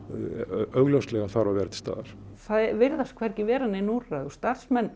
augljóslega þarf að vera til staðar það virðast hvergi vera nein úrræði og starfsmenn